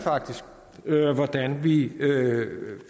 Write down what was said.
hvordan vi